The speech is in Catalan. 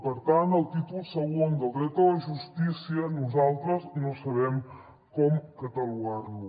per tant el títol segon del dret a la justícia nosaltres no sabem com catalogar lo